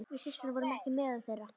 Við systurnar vorum ekki meðal þeirra.